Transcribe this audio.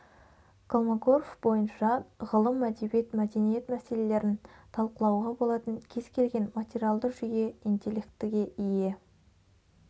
колмогоров бойынша ғылым әдебиет мәдениет мәселелерін талқылауға болатын кез-келген материалды жүйе интелектіге ие